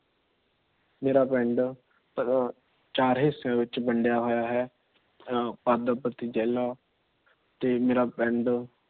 ਮੇਰਾ ਪਿੰਡ ਚਾਰ ਹਿੱਸਿਆਂ ਵਿੱਚ ਵੰਡੀਆਂ ਹੋਇਆ ਹੈ। ਤੇ ਮੇਰਾ ਪਿੰਡ